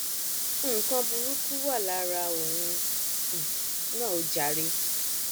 nǹkan burúkú wà lára òun um náà o jàre